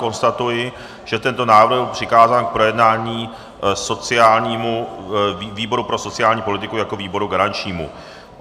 Konstatuji, že tento návrh byl přikázán k projednání výboru pro sociální politiku jako výboru garančnímu.